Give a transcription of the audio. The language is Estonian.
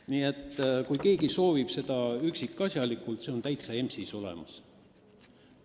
Nii et kui keegi soovib sellest üksikasjalikult lugeda, siis see on EMS-is olemas.